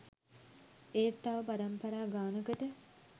ඒත් තව පරම්පරා ගානකට